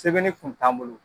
Sɛbɛnni kun t'an bolo.